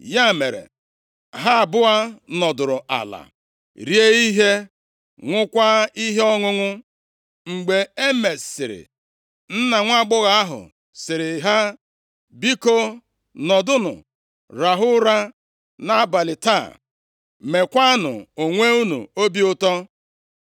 Ya mere, ha abụọ nọdụrụ ala rie ihe, ṅụọkwa ihe ọṅụṅụ. Mgbe e mesiri, nna nwaagbọghọ ahụ sịrị ha, “Biko, nọdụnụ rahụ ụra nʼabalị taa, meekwanụ onwe unu obi ụtọ.”